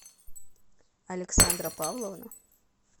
александра павловна